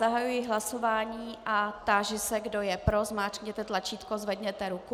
Zahajuji hlasování a táži se, kdo je pro, zmáčkněte tlačítko, zvedněte ruku.